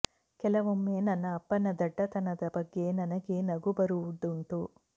ಕೆಲವೊಮ್ಮೆ ನನ್ನ ಅಪ್ಪನ ದಡ್ಡತನದ ಬಗ್ಗೆ ನನಗೇ ನಗು ಬರುವುದುಂಟು